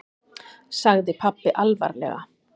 sagði pabbi alvarlega.